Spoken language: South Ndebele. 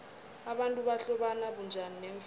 abantu bahlobana bunjani neemfene